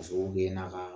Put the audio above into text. Ka sababu kɛ n'a ka